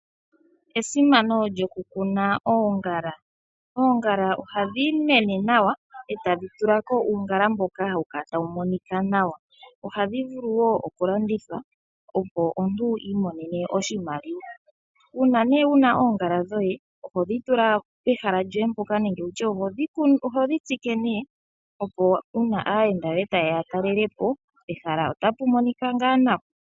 Esimano lyokukuna oongala. Oongala ohadhi mene nawa eta dhi tula ko uungala mboka hawu kala tawu monika nawa. Ohadhi vulu wo okulandithwa opo omuntu i imonene oshimaliwa. Uuna nee wuna oongala dhoye oho dhi tula pehala lyoye mpoka nenge tutye oho dhi tsike nee opo uuna aayenda yoye ta yeya ya talele po pehala otapu monika ngaa nawa.